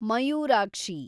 Mayurakshi